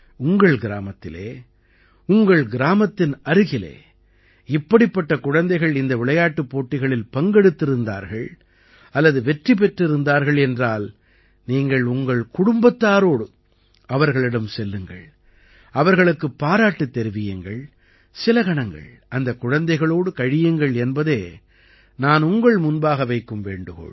உங்கள் கிராமத்திலே உங்கள் கிராமத்தின் அருகிலே இப்படிப்பட்ட குழந்தைகள் இந்த விளையாட்டுப் போட்டிகளில் பங்கெடுத்திருந்தார்கள் அல்லது வெற்றி பெற்றிருந்தார்கள் என்றால் நீங்கள் உங்கள் குடும்பத்தாரோடு அவர்களிடம் செல்லுங்கள் அவர்களுக்குப் பாராட்டுத் தெரிவியுங்கள் சில கணங்கள் அந்தக் குழந்தைகளோடு கழியுங்கள் என்பதே நான் உங்கள் முன்பாக வைக்கும் வேண்டுகோள்